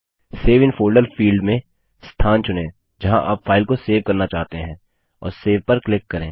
save in folder field में स्थान चुनें जहाँ आप फाइल को सेव करना चाहते हैं और सेव पर क्लिक करें